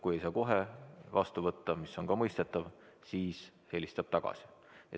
Kui ei saa kohe vastu võtta, mis on ka mõistetav, siis ta helistab tagasi.